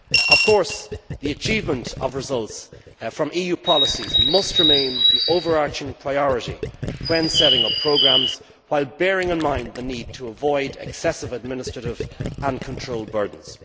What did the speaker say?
Of course the achievement of results from EU policies must remain the overarching priority when setting up programmes while bearing in mind the need to avoid excessive administrative and control burdens.